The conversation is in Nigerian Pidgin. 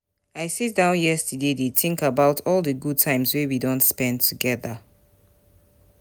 I sit down yesterday dey think about all the good times we don spend together.